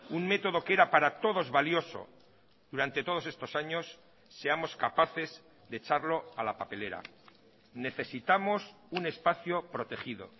un método que era para todos valioso durante todos estos años seamos capaces de echarlo a la papelera necesitamos un espacio protegido